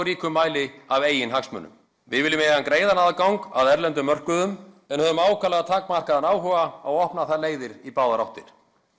ríkum mæli af eigin hagsmunum við viljum eiga greiðan aðgang að erlendum mörkuðum en höfum ákaflega takmarkaðan áhuga á að opna þær leiðir í báðar áttir